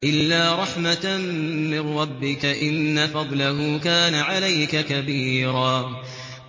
إِلَّا رَحْمَةً مِّن رَّبِّكَ ۚ إِنَّ فَضْلَهُ كَانَ عَلَيْكَ كَبِيرًا